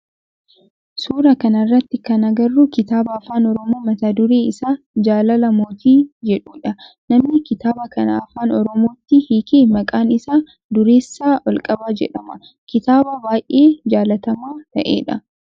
Suuraa kana irratti kana agarru kitaaba afaan oromoo mata duree isaa jaalala mootii jedhudha. Namni kitaaba kana afaan oromootti hiike maqaan isaa Dureessaa Olqabaa jedhama. Kitaaba baayyee jaalatamaa ta'e dha.